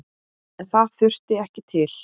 En það þurfti ekki til.